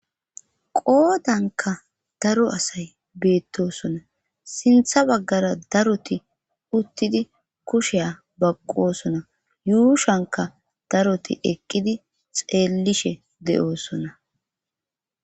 Qoodanka daro asay beettosona sintha baggara daroti uttidi kusheya baqqosona yuushanka daroti eqqidi xeellishe de7oosona